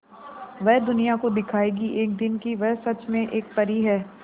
वह दुनिया को दिखाएगी एक दिन कि वह सच में एक परी है